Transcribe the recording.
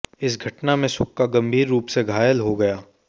इस घटना में सुक्का गंभीर रूप से घायल हो गया